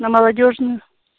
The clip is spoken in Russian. на молодёжную